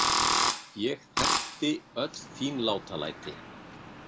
Ég þekkti öll þín látalæti.